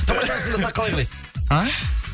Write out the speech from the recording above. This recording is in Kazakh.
қалай қарайсыз а